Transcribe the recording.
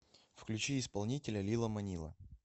включи исполнителя лила манила